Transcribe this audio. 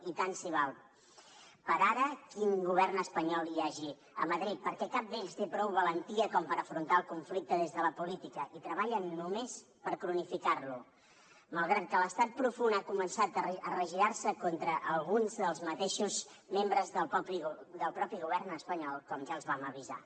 i tant se val per ara quin govern espanyol hi hagi a madrid perquè cap d’ells té prou valentia com per afrontar el conflicte des de la política i treballen només per cronificar lo malgrat que l’estat profund ha començat a regirar se contra alguns dels mateixos membres del mateix govern espanyol com ja els vam avisar